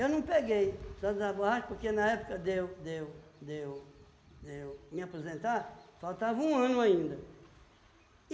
Eu não peguei, soldado da borracha, porque na época de eu de eu de eu de eu me apresentar, faltava um ano ainda.